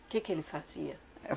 que que ele fazia?